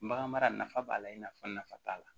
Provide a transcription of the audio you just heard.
Bagan mara nafa b'a la i n'a fɔ nafa t'a la